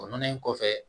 O nɔnɔlen kɔfɛ